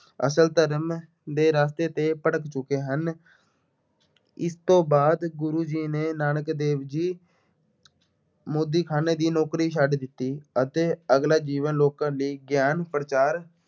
ਅਸਲ ਧਰਮ ਦੇ ਰਸਤੇ ਤੇ ਭਟਕ ਚੁੱਕੇ ਹਨ। ਇਸ ਤੋਂ ਬਾਅਦ ਗੁਰੂ ਜੀ ਨੇ ਨਾਨਕ ਦੇਵ ਜੀ ਮੋਦੀਖਾਨੇ ਦੀ ਨੌਕਰੀ ਛੱਡ ਦਿੱਤੀ ਅਤੇ ਅਗਲਾ ਜੀਵਨ ਲੋਕਾਂ ਲਈ ਗਿਆਨ-ਪ੍ਰਚਾਰ